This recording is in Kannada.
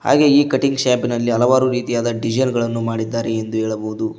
ಹಾಗೆಯೇ ಈ ಕಟಿಂಗ್ ಶಾಪಿ ನಲ್ಲಿ ಹಲವಾರು ರೀತಿಯಾದ ಡಿಸೈನ್ ಗಳನ್ನು ಮಾಡಿದ್ದಾರೆ ಎಂದು ಹೇಳಬಹುದು.